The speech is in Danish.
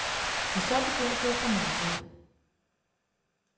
Og så begynder du at få mareridt.